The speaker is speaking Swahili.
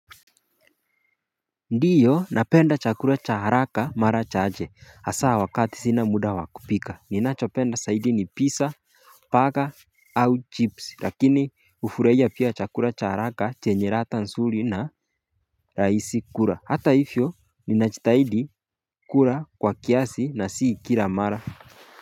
Ndiyo napenda chakula cha haraka mara chache hasaa wakati sina muda wa kupika ninachopenda saidi ni pizza Paga au chips lakini ufuraia pia chakula cha haraka chenye radha nsuri na raisi kura hata ifyo ninachitahidi kura kwa kiasi na si kira mara.